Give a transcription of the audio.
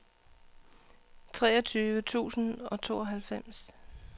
treogtyve tusind og tooghalvfems